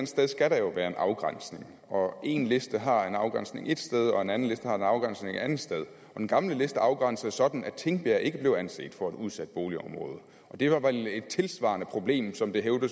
sted skal der jo være en afgrænsning og én liste har en afgrænsning ét sted og en anden liste har en afgrænsning et andet sted den gamle liste var afgrænset sådan at tingbjerg ikke blev anset for et udsat boligområde og det var vel et tilsvarer det problem som det